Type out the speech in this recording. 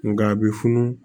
Nga a bɛ funu